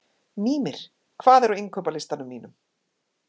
Mímir, hvað er á innkaupalistanum mínum?